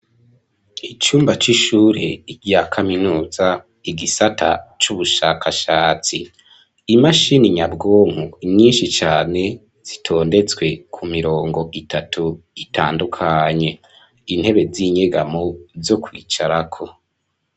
Icumba c'ishure rya kaminuza, igisata c'ubushakashatsi, imashini nyabwonko nyinshi cane, zitondetse ku mirongo itatu itandukanye, intebe z'inyegamo zo kwicarako.